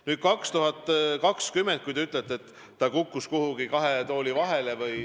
Nüüd, te ütlete, et aastaks 2020 see kukkus kuhugi kahe tooli vahele.